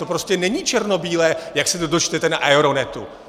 To prostě není černobílé, jak se to dočtete na Aeronetu.